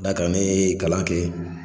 N'a kɛra nee kalan ke